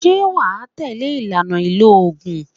Ṣé wà á tẹ̀lé ìlànà ìlò oògùn?